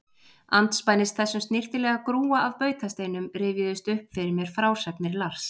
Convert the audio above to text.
Andspænis þessum snyrtilega grúa af bautasteinum rifjuðust upp fyrir mér frásagnir Lars